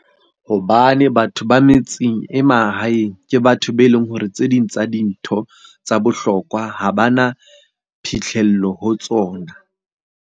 Hobane batho ba metseng e mahaeng ke batho be leng hore tse ding tsa dintho tsa bohlokwa ha ba na phihlello ho tsona.